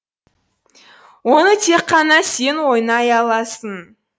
оны тек қана сен ойнай аласың